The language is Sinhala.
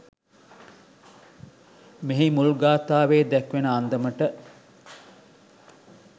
මෙහි මුල් ගාථාවේ දැක්වෙන අන්දමට